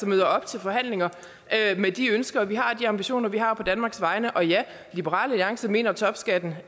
møder op til forhandlinger med de ønsker vi har og de ambitioner vi har på danmarks vegne og ja liberal alliance mener at topskatten